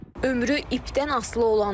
Ömrü ipdən asılı olanlar.